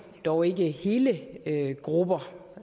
dog ikke hele grupper